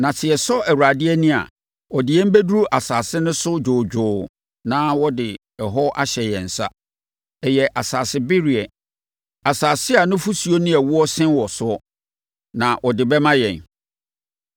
Na sɛ yɛsɔ Awurade ani a, ɔde yɛn bɛduru asase no so dwoodwoo na ɔde hɔ ahyɛ yɛn nsa. Ɛyɛ asase bereɛ, asase a nufosuo ne ɛwoɔ sen wɔ soɔ, na ɔde bɛma yɛn.